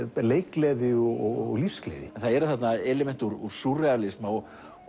leikgleði og lífsgleði það eru þarna element úr súrrealisma og